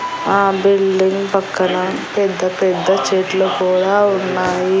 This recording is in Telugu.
ఆ బిల్డింగ్ పక్కన పెద్ద పెద్ద చెట్లు కూడా ఉన్నాయి.